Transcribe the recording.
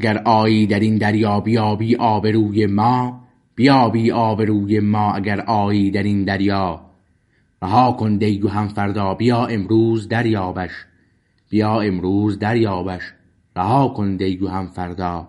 اگر آیی در این دریا بیابی آبروی ما بیابی آبروی ما اگر آیی در این دریا رها کن دی و هم فردا بیا امروز دریابش بیا امروز دریابش رها کن دی و هم فردا